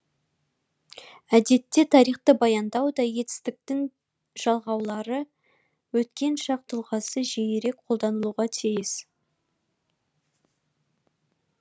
әдетте тарихты баяндауда етістіктің ды жалғаулы өткен шақ тұлғасы жиірек қолданылуға тиіс